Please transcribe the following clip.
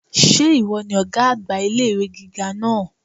Sé ìwo ni ògá àgbà ilé ìwé gíga náà?